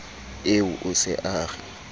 eo o se a re